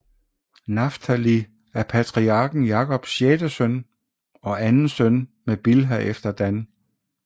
Naftali er patriarken Jakobs sjette søn og anden søn med Bilha efter Dan